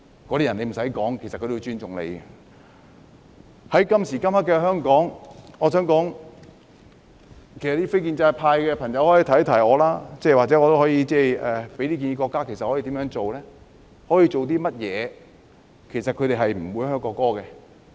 我想說，在今時今日的香港，非建制派的朋友可以給我一些建議，或許我也可以向國家提出一些建議，也就是應該如何做或可以做甚麼，才令他們不會"噓"國歌？